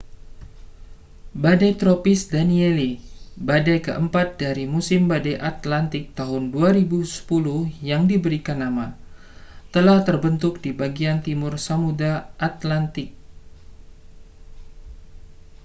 badai tropis danielle badai keempat dari musim badai atlantik tahun 2010 yang diberikan nama telah terbentuk di bagian timur samudera atlantik